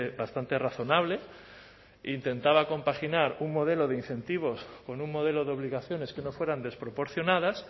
bastante razonable e intentaba compaginar un modelo de incentivos con un modelo de obligaciones que no fueran desproporcionadas